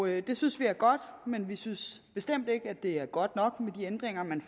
det synes vi er godt men vi synes bestemt ikke det er godt nok med de ændringer man